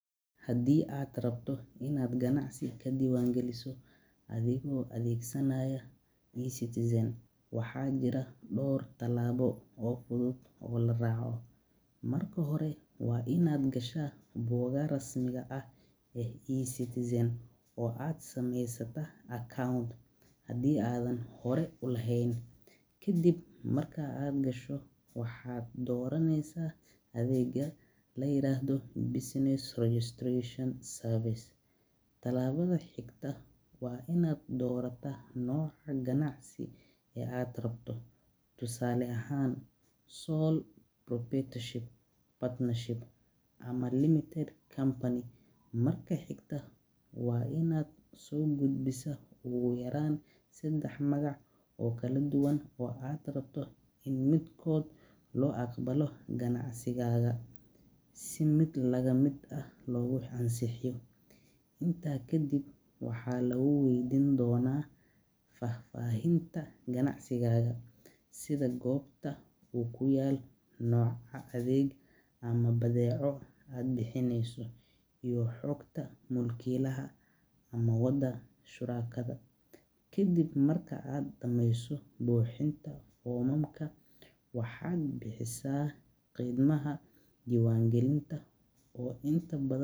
Hadii aa rabto in aad ganacsi diwan galiso athigo adhegsanaya e citizen waxaa jiraa dor tilabo oo fuduud oo la raco marka hore waa in aa gasha wadha rasmiga ah e citizen ama account athigo qibraad u lahen, waxaa doraneysa athega layiraado business administration, waa in aa so gudbisa ogu yaran sadax magac in miid kod lagu aqbala, iyo xogta shurakaada, kadiib waxaa sameysa buxinta fomamka waxaa bixisa qimaha diwan galinta.